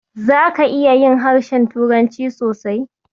Zaka iya yin harshen turanci sosai.